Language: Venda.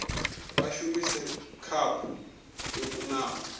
vha shumise khaphu yo kunaho